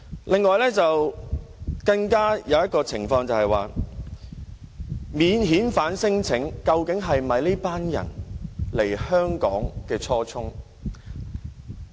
另一點是，提出免遣返聲請究竟是否這群人來香港的初衷？